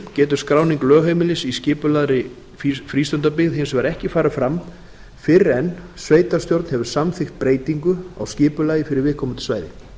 getur skráning lögheimilis í skipulegri frístundabyggð hins vegar ekki farið fram fyrr en sveitarstjórn hefur samþykkt breytingu á skipulagi fyrir viðkomandi svæði